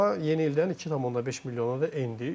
Amma yeni ildən 2.5 milyona da endi.